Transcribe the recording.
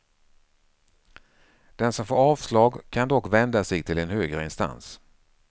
Den som får avslag kan dock vända sig till en högre instans.